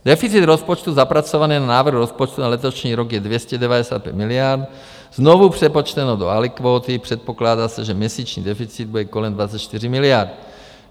Deficit rozpočtu zapracovaný na návrh rozpočtu na letošní rok je 295 miliard, znovu přepočteno do alikvóty, předpokládá se, že měsíční deficit bude kolem 24 miliard.